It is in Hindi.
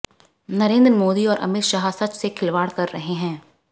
नरेंद्र मोदी और अमित शाह सच से खिलवाड़ कर रहे हैं